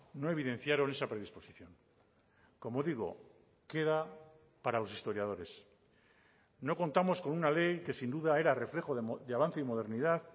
no evidenciaron esa predisposición como digo queda para los historiadores no contamos con una ley que sin duda era reflejo de avance y modernidad